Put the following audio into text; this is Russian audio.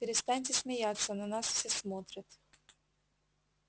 перестаньте смеяться на нас все смотрят